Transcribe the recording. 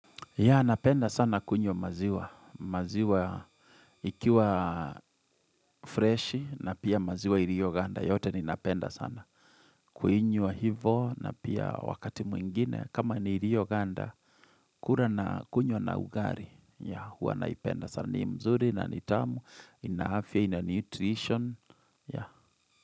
Ya napenda sana kunywa maziwa, maziwa ikiwa fresh na pia maziwa irioganda yote ninapenda sana. Kuinywa hivo na pia wakati mwingine kama ni irioganda kura na kunywa na ugari ya huwa naipenda sana ni mzuri na nitamu inafya ina nutrition ya.